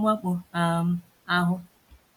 mwakpo um ahụ!